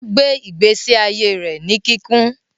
Ogbe igbesi aiye rẹ ní kikún